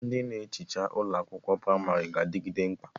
Ndị na-ehicha ụlọ akwụkwọ pramarị ga-adịgide mkpa